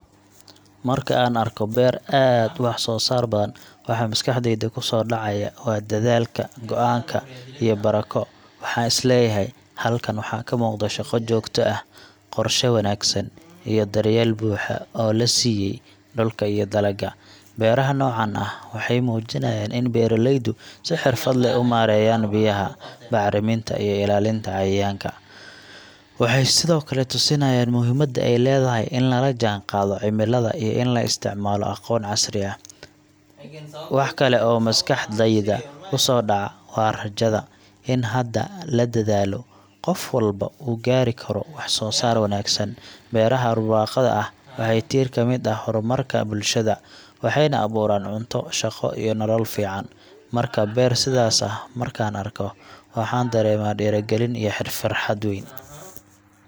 Markaan arko beer aad u wax-soosaar badan, waxa maskaxdayda ku soo dhacaya waa dadaalka, go’aanka, iyo barako. Waxaan is leeyahay: Halkaan waxaa ka muuqda shaqo joogto ah, qorshe wanaagsan, iyo daryeel buuxa oo la siiyey dhulka iyo dalagga. Beeraha noocaan ah waxay muujinayaan in beeraleydu si xirfad leh u maareeyeen biyaha, bacriminta, iyo ilaalinta cayayaanka. Waxay sidoo kale tusinayaan muhiimadda ay leedahay in lala jaanqaado cimilada iyo in la isticmaalo aqoon casri ah. Wax kale oo maskaxdayda ku soo dhaca waa rajada in haddii la dadaalo, qof walba uu gaari karo wax-soosaar wanaagsan. Beeraha barwaaqada ah waa tiir ka mid ah horumarka bulshada, waxayna abuuraan cunto, shaqo, iyo nolol fiican. Marka, beer sidaas ah markaan arko, waxaan dareemaa dhiirigelin iyo farxad weyn.